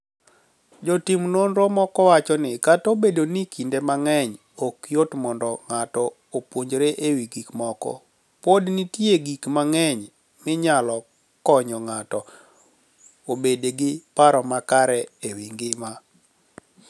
Jotim noniro moko wacho nii: "Kata obedo nii kinide manig'eniy ok yot monido nig'ato opuonijre e wi gik moko, pod niitie gik manig'eniy maniyalo koniyo nig'ato obed gi paro makare e wi nigima.